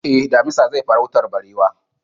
Eh, damisa zai farautar barewar